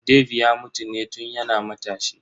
Dave ya mutu ne tun yana matashi.